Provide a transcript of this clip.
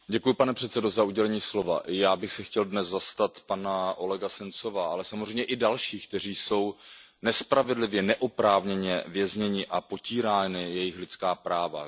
Pane předsedající, já bych se chtěl dnes zastat pana Olega Sencova, ale samozřejmě i dalších, kteří jsou nespravedlivě, neoprávněně vězněni a jsou potírána jejich lidská práva.